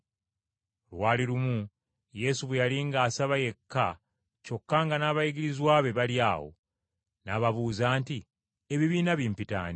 Lwali lumu Yesu bwe yali ng’asaba yekka kyokka nga n’abayigirizwa be bali awo, n’ababuuza nti, “Ebibiina bimpita ani?”